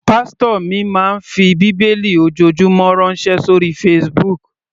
Pásítò mi máa ń fi bíbélì ojoojúmọ́ ránṣẹ́ sóri Facebook.